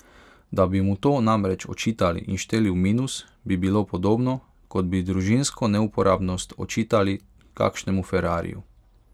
Da bi mu to namreč očitali in šteli v minus, bi bilo podobno, kot bi družinsko neuporabnost očitali kakšnemu ferrariju.